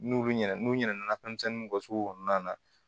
N'olu ɲɛna n'u ɲana fɛnmisɛnninw kɛ so kɔnɔna na